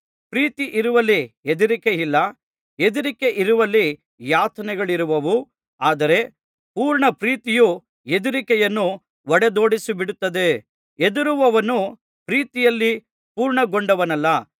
ಪ್ರೀತಿ ಇರುವಲ್ಲಿ ಹೆದರಿಕೆಯಿಲ್ಲ ಹೆದರಿಕೆಯಿರುವಲ್ಲಿ ಯಾತನೆಗಳಿರುವವು ಆದರೆ ಪೂರ್ಣಪ್ರೀತಿಯು ಹೆದರಿಕೆಯನ್ನು ಹೊಡೆದೊಡಿಸಿಬಿಡುತ್ತದೆ ಹೆದರುವವನು ಪ್ರೀತಿಯಲ್ಲಿ ಪೂರ್ಣಗೊಂಡವನಲ್ಲ